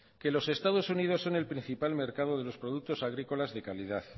que los estados unidos son el principal mercado de los productos agrícola de calidad